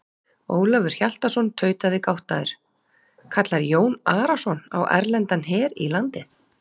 Ólafur Hjaltason tautaði gáttaður:-Kallar Jón Arason á erlendan her í landið?